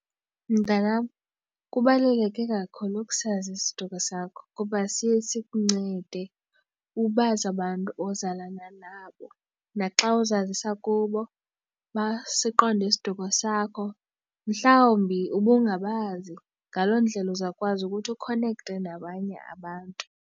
Mntanam, kubaluleke kakhulu ukusazi isiduko sakho kuba siye sikuncede ubazi abantu ozalana nabo naxa uzazisa kubo basiqonde isiduko sakho. Mhlawumbi ubungabazi, ngaloo ndlela uzawukwazi ukuthi ukhonekthe nabanye abantu.